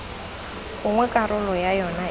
gongwe karolo ya yona e